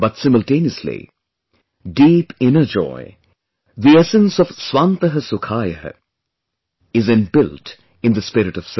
But simultaneously, deep inner joy, the essence of 'Swantah Sukhaayah' is inbuilt in the spirit of service